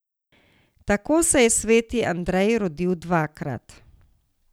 Tako se je sveti Andrej rodil dvakrat.